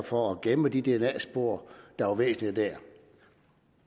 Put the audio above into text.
for at gemme de dna spor der var væsentlige dér